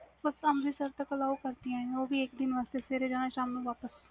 ਹੁਣ ਤਾ ਅੰਮ੍ਰਿਤਸਰ ਤਕ ਜਾਣਾ ਹੋ ਵੀ ਸਵੇਰੇ ਜਾਣਾ ਸ਼ਾਮੀ ਵਾਪਿਸ